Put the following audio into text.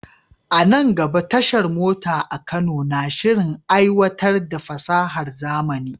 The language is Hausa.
A nan gaba, tashar mota a Kano na shirin aiwatar da fasahar zamani.